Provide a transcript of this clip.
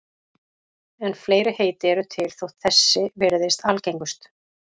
En fleiri heiti eru til þótt þessi virðist algengust.